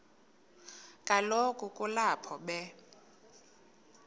kaloku kulapho be